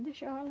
E deixava lá.